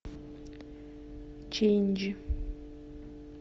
чендж